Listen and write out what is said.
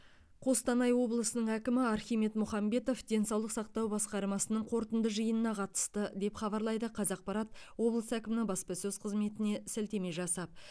қостанай облысының әкімі архимед мұхамбетов денсаулық сақтау басқармасының қорытынды жиынына қатысты деп хабарлайды қазақпарат облыс әкімінің баспасөз қызметіне сілтеме жасап